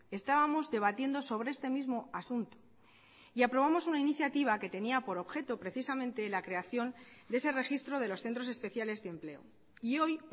estábamos debatiendo sobre este mismo asunto y aprobamos una iniciativa que tenía por objeto precisamente la creación de ese registro de los centros especiales de empleo y hoy